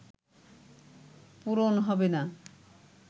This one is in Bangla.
পূরণ হবে না